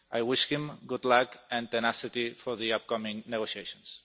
I wish him good luck and tenacity for the upcoming negotiations.